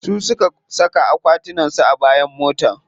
Su suka saka akwatunan su a bayan mota.